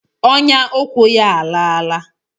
Ọnyà ụkwụ ya a a laala.